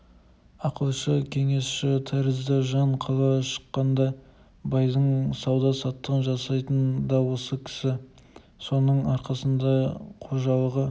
ақылшы кеңесші тәрізді жан қала шыққанда байдың сауда-саттығын жасайтын да осы кісі соның арқасында қожалығы